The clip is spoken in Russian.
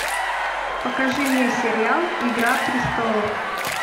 покажи мне сериал игра престолов